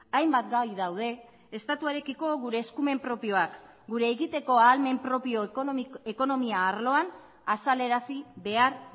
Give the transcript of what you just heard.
hainbat gai daude estatuarekiko gure eskumen propioak gure egiteko ahalmen propio ekonomia arloan azalarazi behar